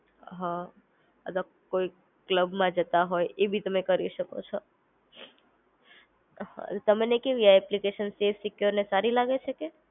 હ આ તો કોઈ ક્લબમાં જતા હોય તો એ બી તમે કરી શકો છો. તમને કેવી આ એપ્લિકેશન સફે સેકયોર અને સારી લાગે છે?